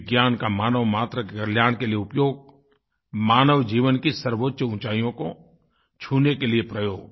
विज्ञान का मानवमात्र कल्याण के लिए उपयोग मानव जीवन की सर्वोच्च ऊंचाइयों को छूने के लिए प्रयोग